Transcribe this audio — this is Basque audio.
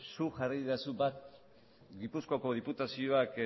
zuk jarri didazu bat gipuzkoako diputazioa